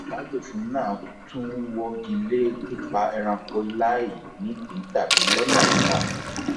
àbádòfin náà tún wọgi lé pípa ẹranko láì nídìí tàbí lọnà ìkà